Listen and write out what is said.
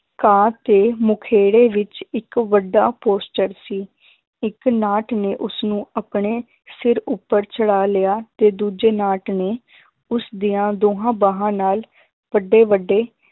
ਘਾਹ ਤੇ ਮੁਖੇੜੇ ਵਿੱਚ ਇੱਕ ਵੱਡਾ posture ਸੀ, ਇੱਕ ਨਾਟ ਨੇ ਉਸਨੂੰ ਆਪਣੇ ਸਿਰ ਉੱਪਰ ਚੜਾ ਲਿਆ ਤੇ ਦੂਜੇ ਨਾਟ ਨੇ ਉਸਦੀਆਂ ਦੋਹਾਂ ਬਾਹਾਂ ਨਾਲ ਵੱਡੇ ਵੱਡੇ